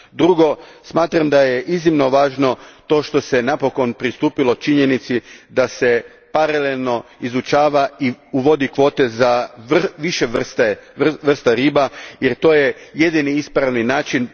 Drugo, smatram da je iznimno važno to što se napokon pristupilo činjenici da se paralelno izučavaju i uvode kvote za više vrsta riba jer to je jedini ispravni način.